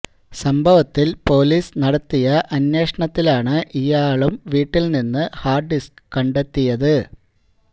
സംഭവത്തില് പോലീസ് നടത്തിയ അന്വേഷണത്തിലാണ് ഇയാളും വീട്ടില് നിന്നും ഹാര്ഡ് ഡിസ്ക് കണ്ടെത്തിയത്